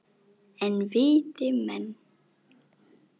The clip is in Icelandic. En viti menn!